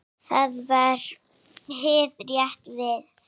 Það var hið rétta verð.